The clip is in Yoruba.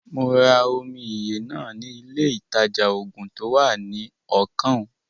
Mo ra omi ìyè náà ni ilé ìtajà-oògùn to wá ní ọkàn ùn